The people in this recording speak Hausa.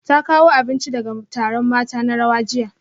Ta kawo abinci daga taron mata na rawa jiya